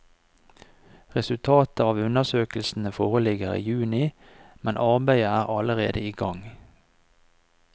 Resultatet av undersøkelsene foreligger i juni, men arbeidet er allerede i gang.